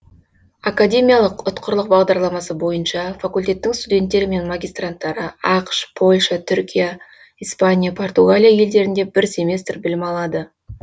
академиялық ұтқырлық бағдарламасы бойынша факультеттің студенттері мен магистранттары ақш польша түркия испания португалия елдерінде бір семестр білім алады